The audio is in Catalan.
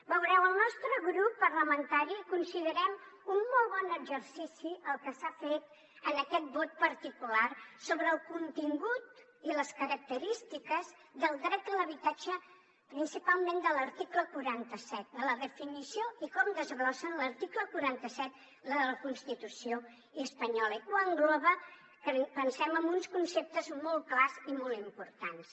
veureu el nostre grup parlamentari considerem un molt bon exercici el que s’ha fet en aquest vot particular sobre el contingut i les característiques del dret a l’habitatge principalment de l’article quaranta set de la definició i com desglossa en l’article quaranta set de la constitució espanyola i que ho engloba pensem amb uns conceptes molt clars i molt importants